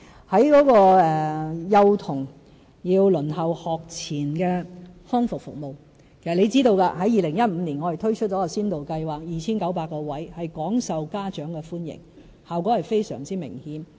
在幼童輪候學前康復服務方面，其實張議員應知道我們在2015年推出了一項先導計劃，提供 2,900 個名額，廣受家長歡迎，效果非常明顯。